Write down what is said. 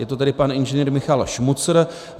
Je to tedy pan Ing. Michal Šmucr.